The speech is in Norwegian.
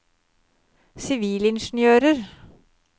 sivilingeniører